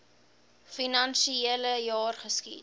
finansiele jaar geskied